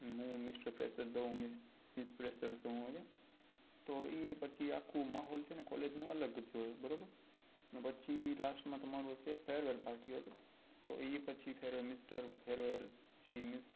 તો એ પછી આખો માહોલ છે ને collage નો અલગ જ હોય બરોબર ને પછી last માં તમારું હશે farewell party ok તો એ પછી mr farewell she mrs farewell